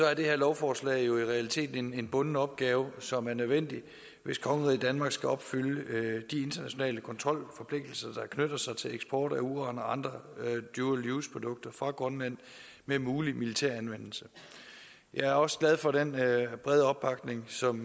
er det her lovforslag jo i realiteten en bunden opgave som er nødvendig hvis kongeriget danmark skal opfylde de internationale kontrolforpligtelser der knytter sig til eksport af uran og andre dual use produkter fra grønland med mulig militær anvendelse jeg er også glad for den brede opbakning som